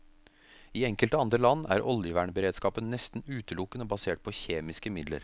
I enkelte andre land er oljevernberedskapen nesten utelukkende basert på kjemiske midler.